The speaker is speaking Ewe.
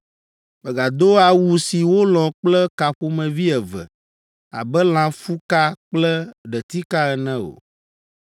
“Mègado awu si wolɔ̃ kple ka ƒomevi eve, abe lãfuka kple ɖetika ene o.